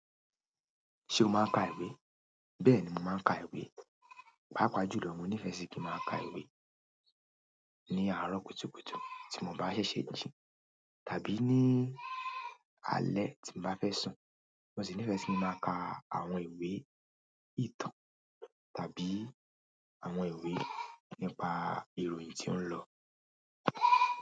Ṣé o máa ń ka ìwé? Bẹ́ẹ̀ni, mo máa ń ka ìwé, pàápàá jùlọ mo nífẹ̀ẹ́ sí kí n máa ka ìwé ní àárọ̀ kùtùkùtù tí mo bá ṣẹṣẹ jìn tàbí ní alẹ́ tí mo bá fẹ́ sùn. Mo sì nífẹ̀ẹ́ sí kí n máa ka àwọn ìwé ìtàn tàbí àwọn ìwé nípa ìròyìn tí ó ń lọ.